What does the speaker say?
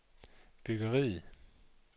byggeriet